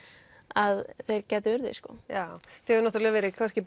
að þeir gætu orðið sko já það hefur verið kannski